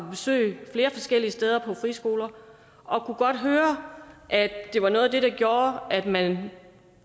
flere forskellige friskoler og kunne godt høre at det var noget af det der gjorde at man